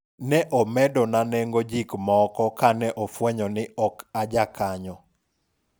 ne omedona nengo jik moko kane ofwenyo ni ok aja kanyo